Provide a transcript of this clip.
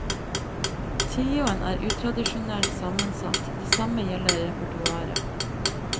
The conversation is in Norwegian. Trioen er utradisjonelt sammensatt, det samme gjelder repertoaret.